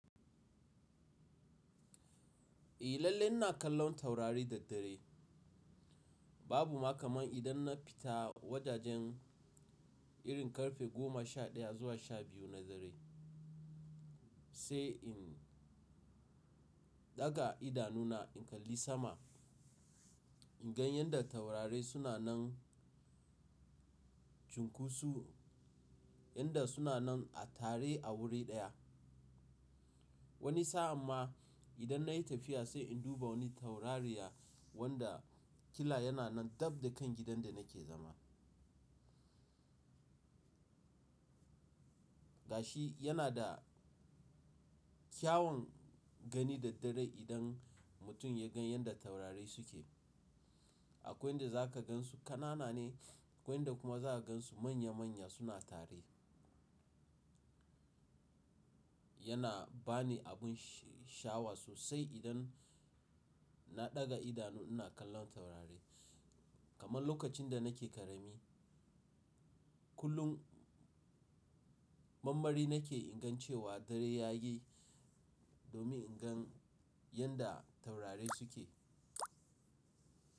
Eh lalle ina kallon taurari da daddare. Babu ma kamar idan na fita, wajajen irin ƙarfe goma sha ɗaya zuwa sha biyu na dare, sai in ɗaga idanuna in kalli sama, in gan yadda taurarai suna nan cunkoso, yanda suna nan a tare a wuri ɗaya. Wani sa'an ma, idan nayi tafiya sai in duba wani taurariya, wanda kila yana nan dab da kan gidan da nake zama. Gashi yana, da kyawan gani da dare idan mutum ya gan yadda taurarai suke. Akwai inda za ka gansu ƙanana ne, akwai inda kuma za ka gansu manya-manya suna tare. Yana bani abun sha'awa sosai, idan na ɗaga idanu ina kallon taurari. Kaman lokacin da nake ƙarami, kullum m-m-marmari nake ingan cewa dare yayi domin in gan yadda taurari suke.